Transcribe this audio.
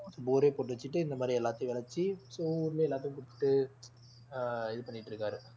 bore ஏ போட்டு வச்சிட்டு இந்த மாதிரி எல்லாத்தையும் விளைச்சு so ஊர்ல எல்லாத்துக்கும் கொடுத்துட்டு ஆஹ் இது பண்ணிட்டு இருக்காரு